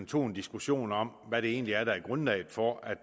tog en diskussion om hvad det egentlig er der er grundlaget for at